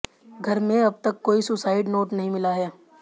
घर में अबतक कोई सुसाइड नोट नहीं मिला है